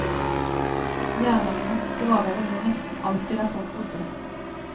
Jernalderens gravhauger lå nesten alltid der folk bodde.